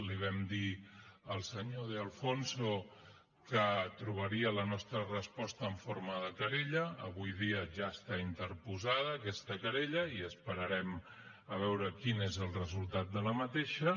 li vam dir al senyor de alfonso que trobaria la nostra resposta en forma de querella avui dia ja està interposada aquesta querella i esperarem a veure quin és el resultat d’aquesta